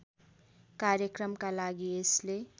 कार्यक्रमका लागि यसले